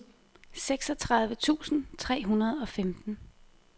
seksogtredive tusind tre hundrede og femten